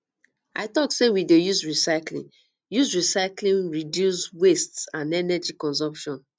i tok sey we dey use recyclying use recyclying reduce waste and energy consumption